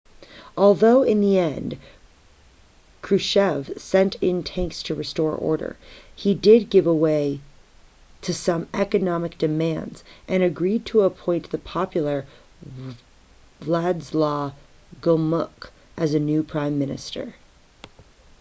although in the end krushchev sent in tanks to restore order he did give way to some economic demands and agreed to appoint the popular wladyslaw gomulka as the new prime minister